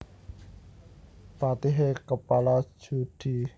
Patihe kepala judhi